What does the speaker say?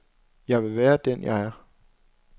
Jeg vil være den, jeg er.